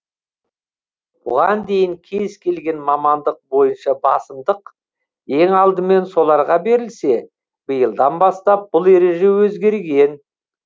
бұған дейін кез келген мамандық бойынша басымдық ең алдымен соларға берілсе биылдан бастап бұл ереже өзгерген